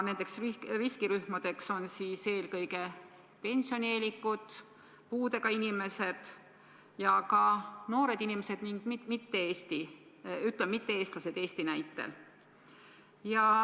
Need riskirühmad on eelkõige pensionieelikud, puudega inimesed, noored inimesed ning mitte-eestlased.